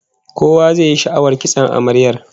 Kowa zai yi sha'awar kitson amaryar